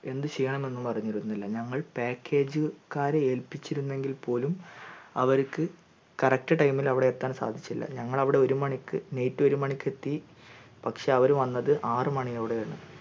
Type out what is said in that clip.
എന്തു ചെയ്യാമെന്നും അറിഞ്ഞിരുന്നില്ല ഞങ്ങൾ package ക്കാരെ ഏൽപ്പിചിരുന്നെങ്കിൽ പോലും അവർക്ക് correct time ഇൽ അവിടെ എത്താൻ സാധിച്ചില്ല ഞങ്ങൾ ഒരുമണിക് night ഒരുമണിക് എത്തി പക്ഷെ അവർ വന്നത് ആറ് മണിയോടെയാണ്